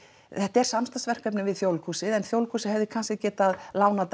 þetta er samstarfsverkefni við Þjóðleikhúsið en Þjóðleikhúsið hefði kannski getað lánað